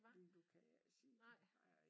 Lige nu kan jeg ikke sige det nej